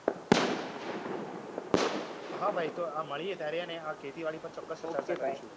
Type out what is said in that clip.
હા ભાઈ તો આ મળીએ ત્યારે હેંને આ ખેતીવાડી પર ચોક્કસ ચર્ચા કરીશું. ok ભાઈ